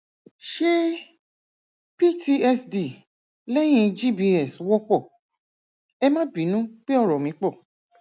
ṣé ptsd lẹyìn gbs wọpọ ẹ má bínú pé ọrọ mí pọ